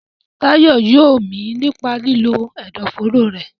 Tayo yóò mí nípa lílo ẹ̀dọ̀fóró rẹ̀.